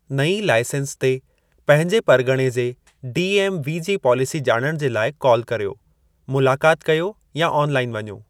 नईं लाइसेंस ते पंहिंजे परगि॒णे जे डी.एम्.वी. जी पालेसी जा॒णणु जे लाइ कॉल करियो, मुलाक़ाति कयो या ऑनलाइन वञो।